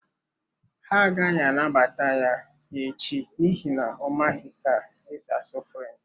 Ha agaghị anabata ya echi n’ihi na ọ maghị ka e si asụ French.